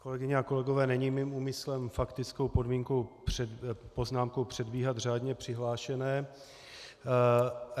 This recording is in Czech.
Kolegyně a kolegové, není mým úmyslem faktickou poznámkou předbíhat řádně přihlášené.